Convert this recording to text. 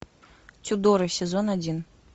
тюдоры сезон один